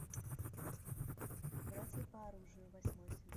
братья по оружию восьмой сезон